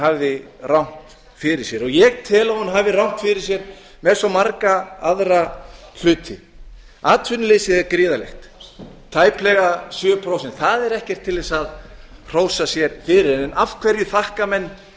hafi rangt fyrir sér og ég tel að hún hafi rangt fyrir sér með svo marga aðra hluti atvinnuleysið er gríðarlegt tæplega sjö prósent það er ekkert til að hrósa sér fyrir en af hverju þakka menn